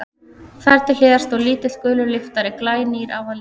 Þar til hliðar stóð lítill, gulur lyftari, glænýr á að líta.